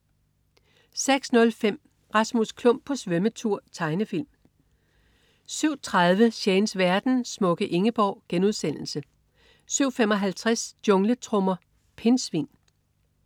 06.05 Rasmus Klump på svømmetur. Tegnefilm 07.30 Shanes verden. Smukke Ingeborg* 07.55 Jungletrommer. Pindsvin